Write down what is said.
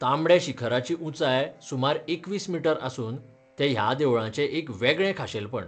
तांबड्या शिखराची उंचाय सुमार एकवीस मीटर आसून तें ह्या देवळाचें एक वेगळें खाशेलपण.